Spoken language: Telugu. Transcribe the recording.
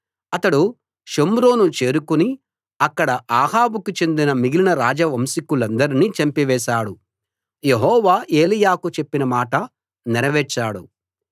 అతడు షోమ్రోను చేరుకుని అక్కడ అహాబుకు చెందిన మిగిలిన రాజవంశీకులందర్నీ చంపివేశాడు యెహోవా ఏలీయాకు చెప్పిన మాట నెరవేర్చాడు